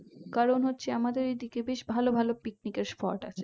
কারণ হচ্ছে আমাদের এই দিকে অনেক ভালো ভালো picnic এর spot আছে